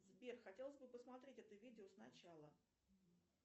сбер хотелось бы посмотреть это видео сначала